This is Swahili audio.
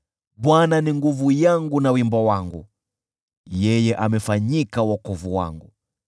Bwana ni nguvu yangu na wimbo wangu, yeye amefanyika wokovu wangu.